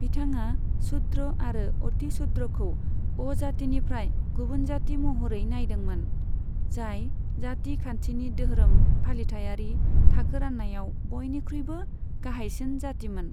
बिथाङा शूद्र आरो अतिशूद्रखौ अजातिनिफ्राय गुबुन जाति महरै नायदोंमोन, जाय जाति खान्थिनि दोहोरोम फालिथायारि थाखो रान्नायाव बयनिख्रुयबो गाहायसिन जातिमोन।